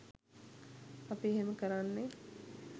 අපි එහෙම කරන්නෙ